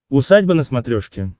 усадьба на смотрешке